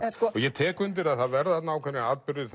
ég tek undir það að það verða ákveðnir atburðir